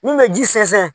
Mun bɛ ji sɛnsɛn